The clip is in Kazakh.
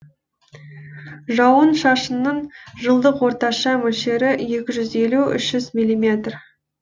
жауын шашынның жылдық орташа мөлшері екі жүз елу үш жүз миллиметр